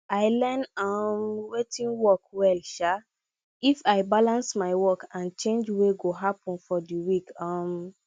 i learn um watin work well um if i balance my work and change wey go happen for the week um